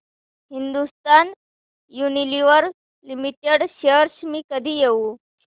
Hindustan Unilever limited shares मी कधी घेऊ